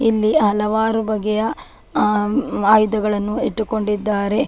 ಇಲ್ಲಿ ಹಲವಾರು ಬಗೆಯ ಆ ಆಯುಧಗಳನ್ನು ಇಟ್ಟುಕೊಂಡಿದ್ದಾರೆ.